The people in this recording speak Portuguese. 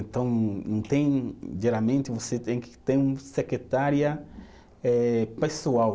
Então não tem, geralmente você tem que ter uma secretária eh pessoal.